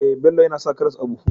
Eh, Bello yAna sa karas a buhu